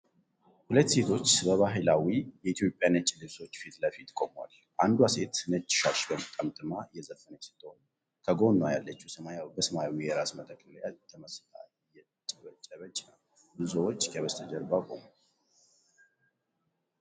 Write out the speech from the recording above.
ሁለት ሴቶች በባህላዊ የኢትዮጵያ ነጭ ልብሶች ፊት ለፊት ቆመዋል። አንዷ ሴት ነጭ ሻሽ ጠምጥማ እየዘፈነች ስትሆን፣ ከጎኗ ያለችው በሰማያዊ የራስ መጠቅለያ ተመስጣ እያጨበጨበች ነው። ብዙ ሰዎች ከበስተጀርባ ቆመዋል።